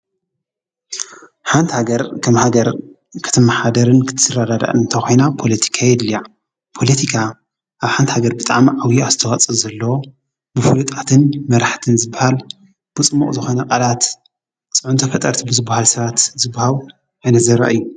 ሓንቲ ሃገር ከም ሃገር ክትመሓደርን ክትረዳዳ እንተ ኾይና ጶሎቲካ የድልያዕ ጶሎቲካ ኣብ ሓንቲ ሃገር ብጣም ዓውዪ ኣዝተዋጸ ዘለዎ ብፍሉጣትን መራሕትን ዝብሃል ብጽምቕ ዝኾነ ቓላት ጽዑንተ ፈጠርት ብዝብሃል ሥራት ዝብሃው እነ ዘረ እዩ።